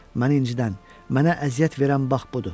Məni incidən, mənə əziyyət verən bax budur.